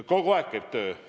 Kogu aeg käib töö!